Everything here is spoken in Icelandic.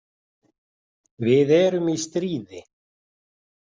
Við erum í stríði.